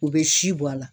U bɛ si bɔ a la